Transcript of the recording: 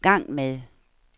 gang med